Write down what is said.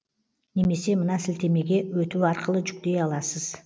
немесе мына сілтемеге өту арқылы жүктей аласыз